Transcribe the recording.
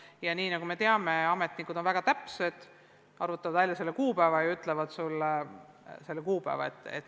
Ja nagu me teame, on ametnikud väga täpsed, nad arvutavad selle kuupäeva välja ja ütlevad siis edasi.